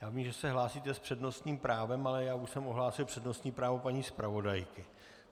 Já vím, že se hlásíte s přednostním právem, ale já už jsem ohlásil přednostní právo paní zpravodajky.